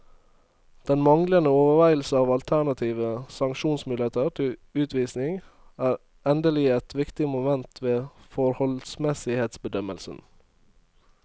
Den manglende overveielse av alternative sanksjonsmuligheter til utvisning er endelig et viktig moment ved forholdsmessighetsbedømmelsen.